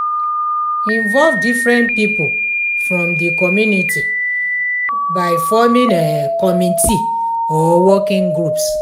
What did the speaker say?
involve different pipo from di community by forming committe or working groups